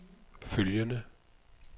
følgende